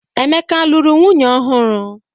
Emeka alụrụ nwunye ọhụrụ?